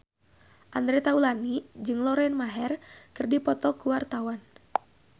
Andre Taulany jeung Lauren Maher keur dipoto ku wartawan